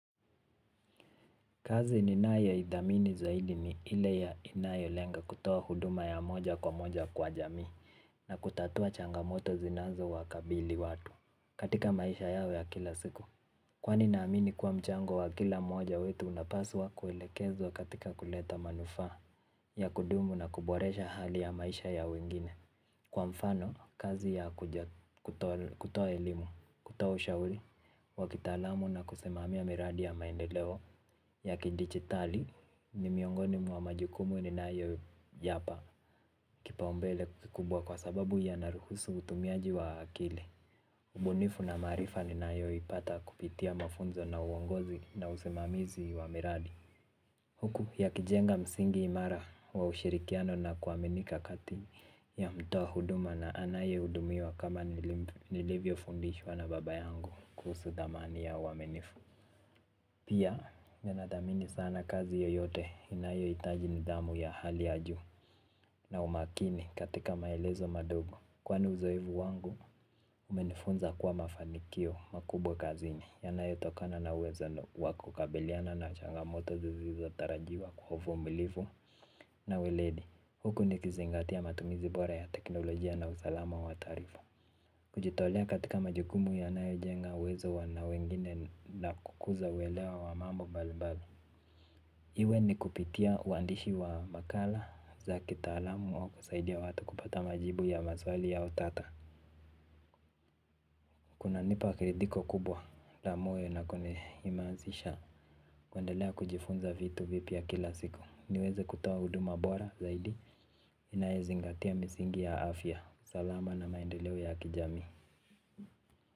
Kazi ninayoithamini zaidi ni ile ya inayo lenga kutoa huduma ya moja kwa moja kwa jamii na kutatua changamoto zinazowakabili watu katika maisha yao ya kila siku. Kwani naamini kuwa mchango wa kila mmoja wetu unapaswa kuelekezwa katika kuleta manufaa ya kudumu na kuboresha hali ya maisha ya wengine. Kwa mfano, kazi ya kutoa elimu, kutoa ushauri, wa kitaalamu na kusimamia miradi ya maendeleo ya kidijitali ni miongoni mwa majukumu ninayoyapa kipaumbele kikubwa kwa sababu yanaruhusu utumiaji wa akili. Ubunifu na maarifa ninayoipata kupitia mafunzo na uongozi na usimamizi wa miradi. Huku yakijenga msingi imara wa ushirikiano na kuaminika kati ya mtoa huduma na anayehudumiwa kama nilivyofundishwa na baba yangu kuhusu thamani ya uaminifu. Pia ninathamini sana kazi yoyote inayohitaji nidhamu ya hali ya juu na umakini katika maelezo madogo. Kwani uzoefu wangu, umenifunza kuwa mafanikio makubwa kazini yanayotokana na uwezano wakukabiliana na changamoto zisizotarajiwa kwa uvumilivu. Na weledi, huku nikizingatia matumizi bora ya teknolojia na usalama wa taarifa. Kujitolea katika majukumu yanayojenga uwezo wa na wengine na kukuza uelewa wa mambo mbalimbali. Iwe ni kupitia uandishi wa makala za kitaalamu au kusaidia watu kupata majibu ya mazwali ya utata. Kunanipa kiridhiko kubwa la moyo nakunihimazisha kuendelea kujifunza vitu vipya kila siku. Niweze kutoa huduma bora zaidi. Inayozingatia misingi ya afya. Salama na maendeleo ya kijamii.